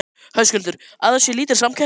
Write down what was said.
Höskuldur: Að það sé lítil samkeppni?